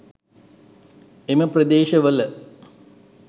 එම ප්‍රදේශවල